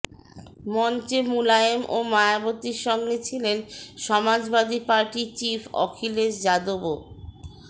মঞ্চে মুলায়ম ও মায়াবতীর সঙ্গে ছিলেন সমাজবাদী পার্টি চিফ অখিলেশ যাদবও